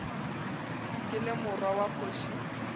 ke le morwa wa kgoši